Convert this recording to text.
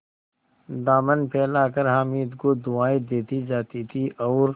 दामन फैलाकर हामिद को दुआएँ देती जाती थी और